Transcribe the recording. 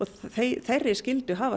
þeirri skyldu hafa